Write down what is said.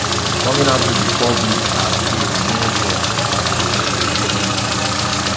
coming out to di public as gay remain rare for south korea entertainment industry